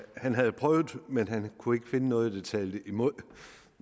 han havde prøvet men han kunne ikke finde noget der talte imod